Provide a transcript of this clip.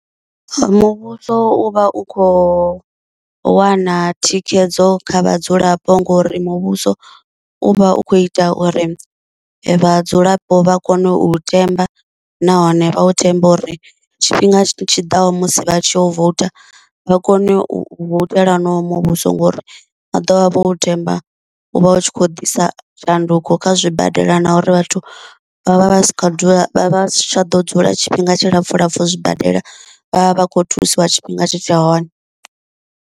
Muvhuso u vha u kho wana thikhedzo kha vhadzulapo, ngori muvhuso u vha u kho ita uri vhadzulapo vha kone u themba, nahone vha u thembe uri tshifhinga tshiḓaho musi vha tshi yo vouta vha kone u voutela honoyo muvhuso, ngori vha ḓovha vho themba u vha u tshi khou ḓisa tshanduko kha zwibadela na uri vhathu vha vha vha si tsha tsha ḓo dzula tshifhinga tshilapfu lapfu u zwibadela vhavha vha khou thusiwa tshifhinga tshi tshe hone.